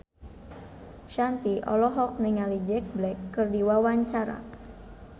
Shanti olohok ningali Jack Black keur diwawancara